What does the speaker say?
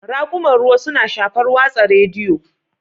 Raƙuman ruwa suna shafar watsa rediyo